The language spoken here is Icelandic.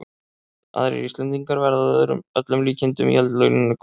Aðrir Íslendingar verða að öllum líkindum í eldlínunni í kvöld.